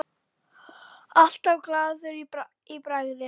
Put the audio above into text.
Alltaf glaður í bragði.